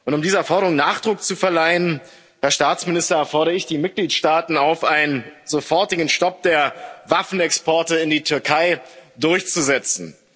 Um dieser Forderung Nachdruck zu verleihen, Herr Staatsminister, fordere ich die Mitgliedstaaten auf, einen sofortigen Stopp der Waffenexporte in die Türkei durchzusetzen.